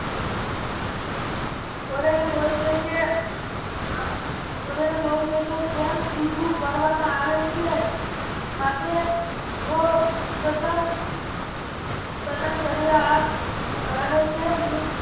જેમ સીધું કરવામાં આવે છે માટે રહે છે